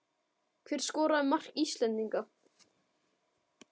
Hver skoraði mark Íslendinga?